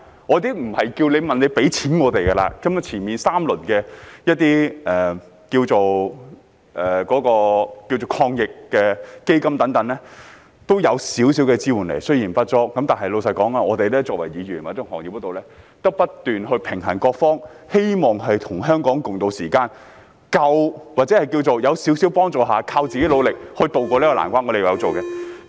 我並非要求政府給予金錢資助，根本首3輪的防疫抗疫基金也給予了少許支援，雖然不足，但老實說，我們作為議員，或在行業裏，要不斷平衡各方，希望與香港共渡時艱，或是在少許幫助下，依靠自己努力渡過這難關，我們有在這方面努力。